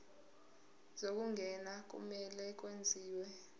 zokungena kumele kwenziwe